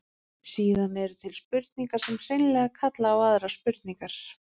Síðan eru til spurningar sem hreinlega kalla á aðrar spurningar.